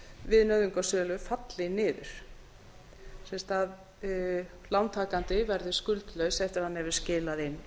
við nauðungarsölu falli niður sem sagt að lántakandi verður skuldlaus eftir að hann hefur skilað inn